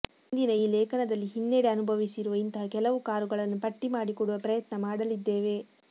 ಇಂದಿನ ಈ ಲೇಖನದಲ್ಲಿ ಹಿನ್ನೆಡೆ ಅನುಭವಿಸಿರುವ ಇಂತಹ ಕೆಲವು ಕಾರುಗಳನ್ನು ಪಟ್ಟಿ ಮಾಡಿಕೊಡುವ ಪ್ರಯತ್ನ ಮಾಡಲಿದ್ದೇವೆ